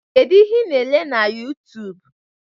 Kedu ihe I na-ele na Yutub?